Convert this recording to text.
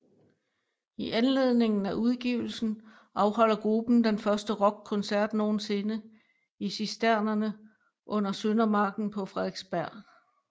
I anledningen af udgivelsen afholder gruppen den første rockkoncert nogensinde i Cisternerne under Søndermarken på Frederiksberg